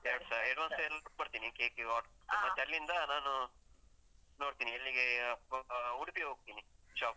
ಎರಡ್ಸ, ಕೊಡ್ತೀನಿ cake ಇಗೆ order ಉ. ಮತ್ತೆ ಅಲ್ಲಿಂದ ನಾನು ನೋಡ್ತೀನಿ ಎಲ್ಲಿಗೆ ಆಹ್ ಉಡುಪಿಗೆ ಹೋಗ್ತೀನಿ, shop ಗೆ.